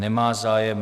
Nemá zájem.